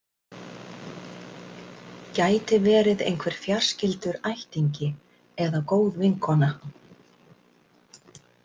Gæti verið einhver fjarskyldur ættingi, eða góð vinkona.